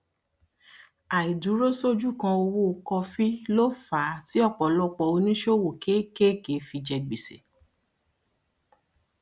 àìdúrósójúkan owó kọfí ló fà á tí ọpọlọpọ oníṣòwò kéékèèké fi jẹ gbèsè